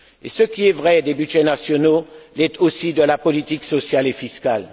Et ce qui est vrai des budgets nationaux l'est aussi de la politique sociale et fiscale.